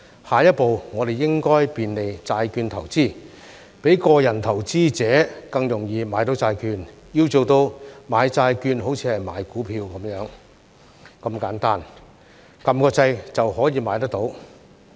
下一步，我們應該便利債券投資，讓個人投資者更容易買到債券，要做到"買債券好像買股票"般如此簡單，按下按鈕就可以買得到。